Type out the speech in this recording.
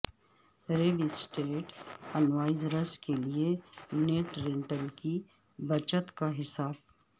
rail estate investors کے لئے net rental کی بچت کا حساب